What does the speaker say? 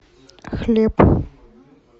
хлеб